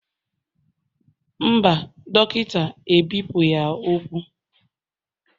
Mba, Dọkịta ebipụghị ya ụkwụ